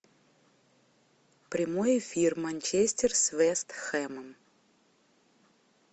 прямой эфир манчестер с вест хэмом